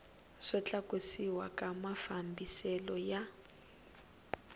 wo tlakusiwa ka mafambiselo ya